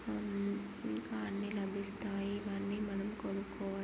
హ్మ్మ్ ఇంకా అన్నీ లబిస్తాయి కానీ మనం కొనుక్కో--